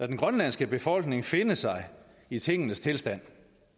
den grønlandske befolkning vil finde sig i tingenes tilstand